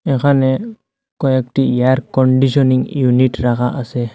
এখানে কয়েকটি air conditioning unit রাখা আসে।